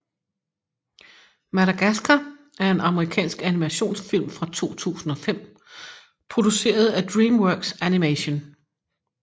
Madagascar er en amerikansk animationsfilm fra 2005 produceret af DreamWorks Animation